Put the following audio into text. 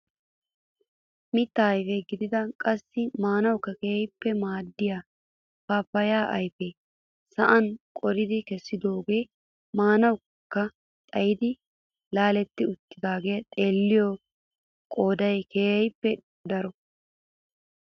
Mittaa ayfe gidida qassi maanawukka keehippe maaddiyaa paapayaa ayfee sa'an qoridi kessidooge mankkaa xaayidi laaletti uttidagaa xeelliyoo qooday keehippe daro.